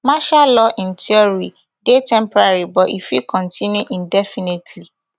martial law in theory dey temporary but e fit continue indefinitely